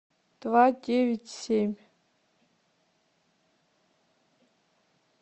два девять семь